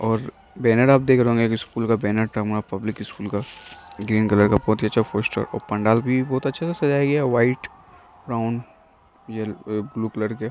और बैनर आप देख रहे होंगे एक स्कूल का बैनर टँगा हुआ है पब्लिक स्कूल का | ग्रीन कलर का बहुत ही अच्छा पोस्टर और पंडाल भी बहुत अच्छे से सजाया गया है | white brown yellow blue colour के |